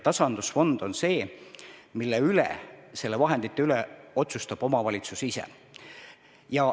Tasandusfondi vahendite üle otsustab omavalitsus ise.